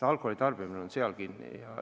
Alkoholi tarbimine on selles kinni.